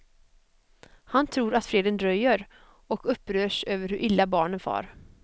Han tror att freden dröjer, och upprörs över hur illa barnen far.